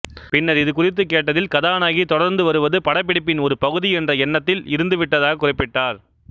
பின்னர் இது குறித்து கேட்டதில் கதாநாயகி தொடருந்து வருவது படப்பிடிப்பின் ஒரு பகுதி என்ற எண்ணத்தில் இருந்துவிட்டதாக குறிப்பிட்டார்